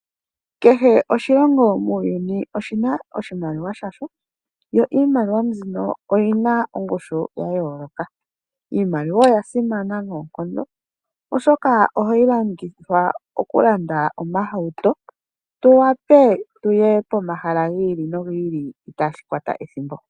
Kehe oshilongo muuyuni oshi na oshimaliwa shasho, yo iimaliwa mbino oyi na ongushu ya yooloka. Iimaliwa oya simana noonkondo oshoka ohayi longithwa okulanda omahauto, tu wape tuye pomahala gi ili nogi ili itaa shi kwata ethimbo.